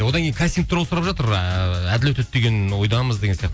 одан кейін кастинг туралы сұрап жатыр ыыы әділ өтеді деген ы ойдамыз деген сияқты